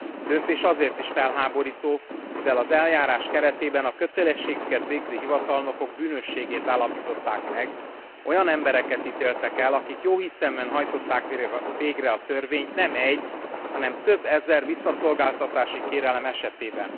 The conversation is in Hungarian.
A döntés azért is felháborító, mivel az eljárás keretében a kötelességüket végző hivatalnokok bűnösségét állapították meg, olyan embereket ítéltek el, akik jóhiszeműen hajtották végre a törvényt nem egy, hanem több ezer visszaszolgáltatási kérelem esetében.